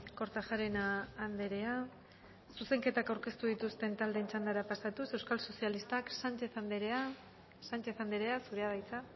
kortajarena anderea zuzenketak aurkeztu dituzten taldeen txanda pasatu euskal sozialistak sánchez anderea zurea da hitza